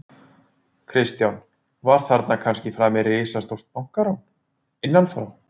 Kristján: Var þarna kannski framið risastórt bankarán, innanfrá?